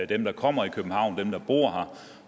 dem der kommer i københavn